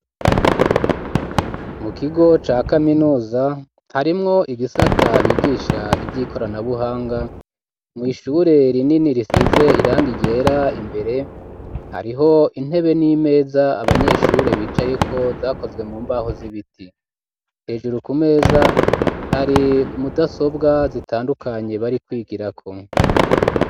Mu kigo ca kaminuza harimwo ibisata bigisha ivyi koranabuhanga mw'ishure rinini risize irangi ryera imbere hariho intebe n'imeza abanyeshure bicayeko zakozwe mu mbaho z'ibiti hejuru ku meza hari mudasobwa zitandukanye bari kwigirako.